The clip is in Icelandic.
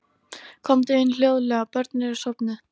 Komdu inn- hljóðlega- börnin eru sofnuð.